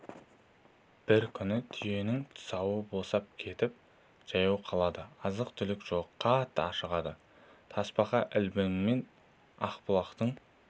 бір күні түйенің тұсауы босап кетіп жаяу қалады азық-түлік жоқ қатты ашығады тасбақа ілбіңмен ақбұлақтың